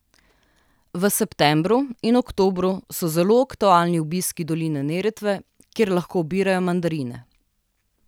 V septembru in oktobru so zelo aktualni obiski doline Neretve, kjer lahko obirajo mandarine.